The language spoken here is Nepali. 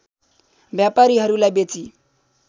व्यापारीहरूलाई बेची